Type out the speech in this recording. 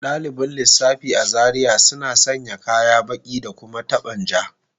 Dalibin lissafi a Zaria suna sanya kaya baki da kuma taban ja